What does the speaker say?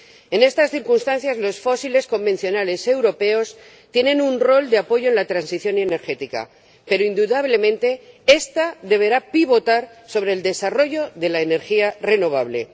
En estas circunstancias, los fósiles convencionales europeos tienen un rol de apoyo en la transición energética, pero indudablemente esta deberá pivotar sobre el desarrollo de la energía renovable.